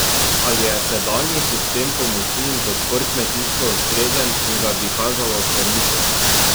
Ali je sedanji sistem pomoči in podpor kmetijstvu ustrezen in ga bi kazalo ohraniti?